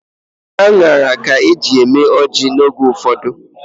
Aṅara ka eji eme ọjị oge ụfọdụ.